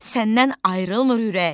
Səndən ayrılmır ürək.